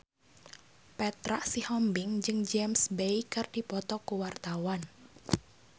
Petra Sihombing jeung James Bay keur dipoto ku wartawan